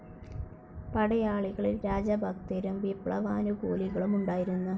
പടയാളികളിൽ രാജഭക്തരും വിപ്ലവാനുകൂലികളും ഉണ്ടായിരുന്നു.